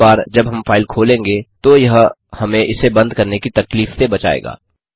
हर बार जब हम फाइल खोलेंगे को यह हमें इसे बंद करने की तकलीफ से बचाएगा